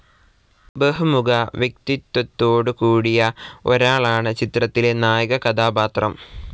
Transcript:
ബഹുമുഖവ്യക്തിത്വത്തോടുകൂടിയ ഒരാളാണ് ചിത്രത്തിലെ നായകകഥാപാത്രം.